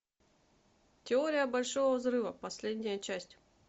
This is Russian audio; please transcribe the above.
теория большого взрыва последняя часть